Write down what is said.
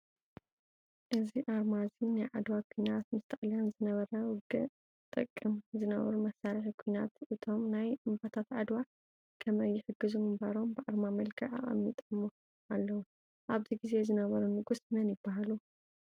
እዚ ኣርማ እዚ ናይ ዓድዋ ኩናት ምስ ጣልያን ዝነበረ ውግእዚ ዝጥቀምዎ ዝነበሩ መሳሪሒ ኩናት እቶም ናይ እምባታት ዓድዋ ከመይ ይሕግዙ ምንባሮም ብኣረማ መልክዕ ኣቀሚጠሞ አለው:: ኣብዚ ግዜ ዝነበሩ ንጉስ መን ይበሃሉ?